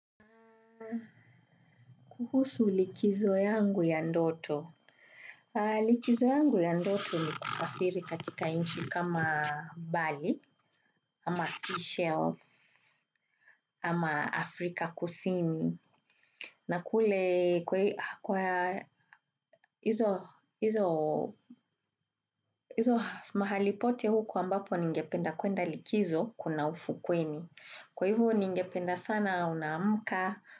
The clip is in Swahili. Kuhusu likizo yangu ya ndoto. Likizo yangu ya ndoto ni kusafiri katika inchi kama Bali, ama seashell, ama Afrika kusini. Na kule kwa hizo mahali pote huko ambapo ningependa kwenda likizo kuna ufukweni. Kwa ivo ningependa sana naamka.